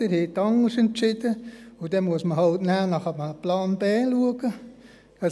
Sie haben anders entschieden, und dann muss man halt nachher nach einem Plan B Ausschau halten.